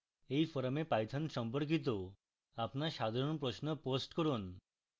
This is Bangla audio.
এই forum python সম্পর্কিত আপনার সাধারণ প্রশ্ন post করুন